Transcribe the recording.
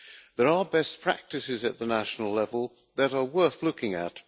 There are best practices at the national level that are worth looking at.